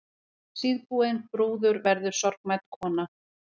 Síðbúin brúður verður sorgmædd kona.